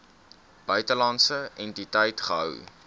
buitelandse entiteit gehou